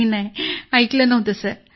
sir ऐकलं तर नव्हतं